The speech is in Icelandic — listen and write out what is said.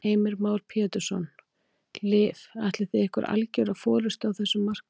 Heimir Már Pétursson: Liv ætlið þið ykkur algjöra forystu á þessum markaði?